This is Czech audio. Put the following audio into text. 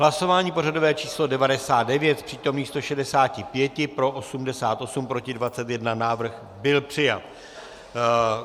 Hlasování pořadové číslo 99, z přítomných 165 pro 88, proti 21, návrh byl přijat.